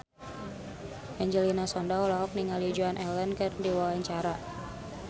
Angelina Sondakh olohok ningali Joan Allen keur diwawancara